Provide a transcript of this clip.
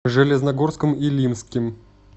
железногорском илимским